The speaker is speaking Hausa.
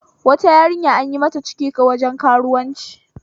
Wata yarinya anyi mata ciki waje karuwanci